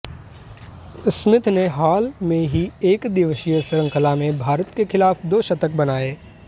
Smith ने हाल ही में एकदिवसीय श्रृंखला में भारत के खिलाफ दो शतक बनाए